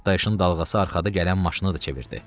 Partlayışın dalğası arxada gələn maşını da çevirdi.